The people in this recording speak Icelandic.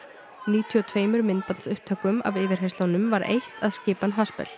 níutíu og tveimur myndbandsupptökum af yfirheyrslunum var eytt að skipan